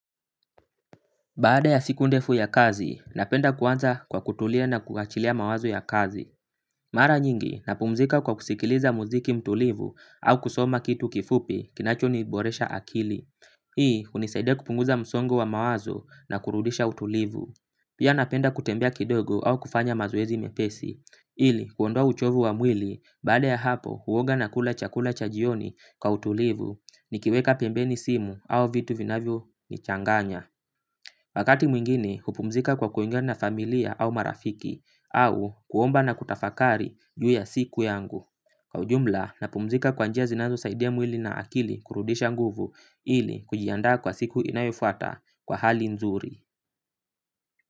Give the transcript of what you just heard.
Baada ya siku ndefu ya kazi, napenda kuanza kwa kutulia na kuachilia mawazo ya kazi. Mara nyingi, napumzika kwa kusikiliza muziki mtulivu au kusoma kitu kifupi kinacho niboresha akili. Hii, hunisaidia kupunguza msongo wa mawazo na kurudisha utulivu. Pia napenda kutembea kidogo au kufanya mazoezi mepesi. Ili, kuondoa uchovu wa mwili, baada ya hapo, huoga na kula chakula cha jioni kwa utulivu, nikiweka pembeni simu au vitu vinavyo nichanganya. Wakati mwingine kupumzika kwa kuongea na familia au marafiki au kuomba na kutafakari juu ya siku yangu. Kwa ujumla na pumzika kwa njia zinazo saidia mwili na akili kurudisha nguvu ili kujiandaa kwa siku inayofuata kwa hali nzuri.